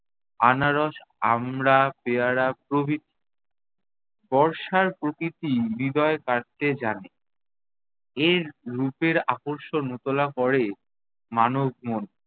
আনারস, আমড়া, পেয়ারা প্রভৃতি। বর্ষার প্রকৃতি হৃদয় কাড়তে জানে। এর রূপের আকর্ষণ উতলা করে মানব মন।